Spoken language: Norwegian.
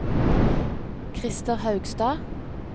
Christer Haugstad